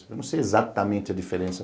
Eu não sei exatamente a diferença.